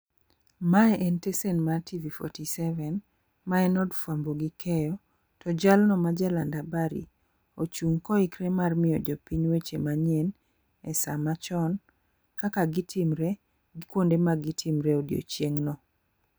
Mae en stesen mar TV47, ma en od fwambo gi keyo. To jalno majaland habari, ochung' ka oikore mar miyo jopiny weche manyien e sa machon, kaka gitimore, gi kuonde ma gitimore odiechieng' no.